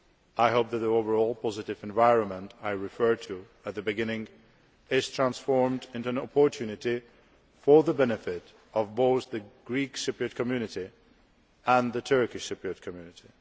I hope that the overall positive environment I referred to at the beginning will be transformed into an opportunity for the benefit of both the Greek Cypriot community and the Turkish Cypriot community.